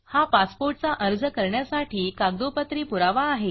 हा पासपोर्ट चा अर्ज करण्यासाठी कागदोपत्री पुरावा आहे